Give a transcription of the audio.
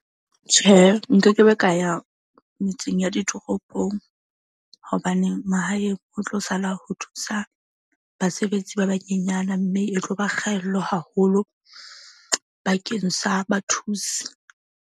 Tjhehe, nkekebe ka ya metseng ya ditoropong hobaneng mahaeng ho tlo sala ho thusa basebetsi ba banyenyana. Mme e tlo ba kgaello haholo bakeng sa bathusi.